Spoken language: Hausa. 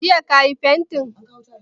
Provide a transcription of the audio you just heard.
Jiya ka yi fantin?